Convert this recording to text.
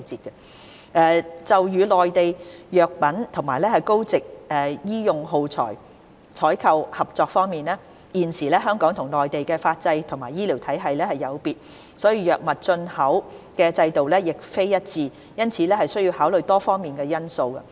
三就與內地就藥品及高值醫用耗材採購的合作方面，現時香港與內地的法制及醫療體系有別，藥物進出口的制度亦並非一致，因此須考慮多方面的因素。